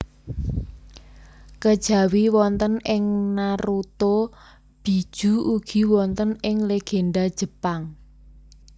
Kejawi wonten ing Naruto Bijuu ugi wonten ing legenda Jepang